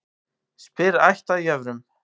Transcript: Spyr ætt að jöfrum.